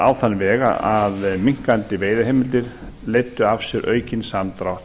á þann veg að minnkandi veiðiheimildir leiddu af sér aukinn samdrátt